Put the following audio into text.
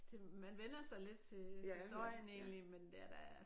Det man vænner sig lidt til til støjen egentlig men det er da